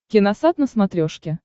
киносат на смотрешке